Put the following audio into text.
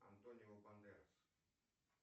антонио бандерас